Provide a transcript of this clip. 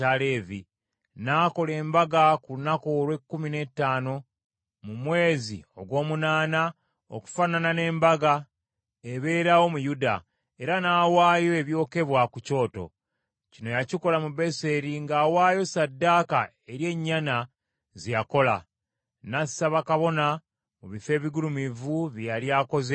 N’akola embaga ku lunaku olw’ekkumi n’ettaano mu mwezi ogw’omunaana, okufaanana n’embaga ebeerawo mu Yuda, era n’awaayo ebyokebwa ku kyoto. Kino yakikola mu Beseri ng’awaayo ssaddaaka eri ennyana ze yakola. N’assa bakabona mu bifo ebigulumivu bye yali akoze e Beseri.